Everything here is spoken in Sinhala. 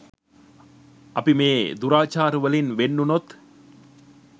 අපි මේ දුරාචාරවලින් වෙන් වුනොත්